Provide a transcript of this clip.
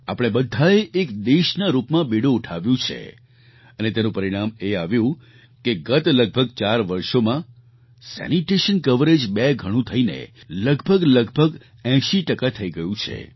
આપણે બધાએ એક દેશના રૂપમાં બીડું ઉઠાવ્યું છે અને તેનું પરિણામ એ આવ્યું કે ગત લગભગ 4 વર્ષોમાં સેનિટેશન કવરેજ બે ગણું થઈને લગભગલગભગ 80 ટકા થઈ ગયું છે